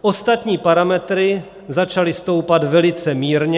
ostatní parametry začaly stoupat velice mírně.